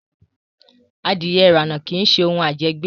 Adìẹ irana kii ṣe òun ajẹgbẹ́